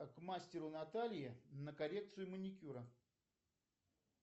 к мастеру наталье на коррекцию маникюра